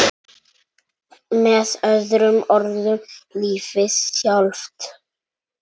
Með öðrum orðum lífið sjálft.